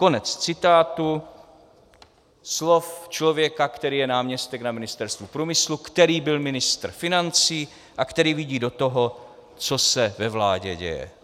Konec citátu slov člověka, který je náměstek na Ministerstvu průmyslu, který byl ministr financí a který vidí do toho, co se ve vládě děje.